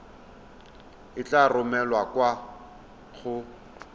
e tla romelwa kwa go